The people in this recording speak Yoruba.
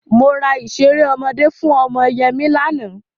Mo ra ìṣeré ọmọdé fún ọmọ Yẹmí lánàá.